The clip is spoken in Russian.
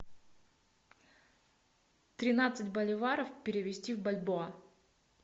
тринадцать боливаров перевести в бальбоа